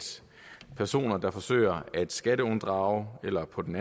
personer der forsøger at skatteunddrage eller på den